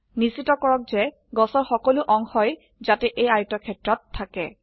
নিশ্চিত কৰক যে গছৰ সকলো অংশই যাতে এই আয়তক্ষেত্ৰত থাকে